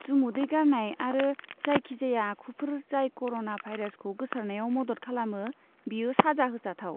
जुमुदै गारनाय आरो जायखिजाया आखुफोर जाय कर'ना भाइरासखौ गोसारनायाव मदद खालामो बेयो साजा होजाथाव।